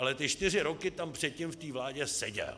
Ale ty čtyři roky tam předtím v té vládě seděl!